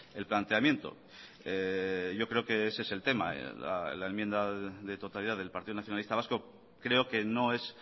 el planteamiento yo creo que ese es el tema la enmienda de totalidad del partido nacionalista vasco creo que no es